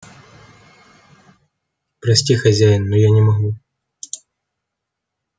прости хозяин но я не могу